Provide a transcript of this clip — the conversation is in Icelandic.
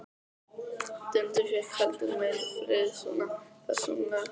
Dundi fékk heldur meiri frið, svona persónulega.